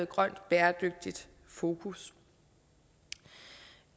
grønt og bæredygtigt fokus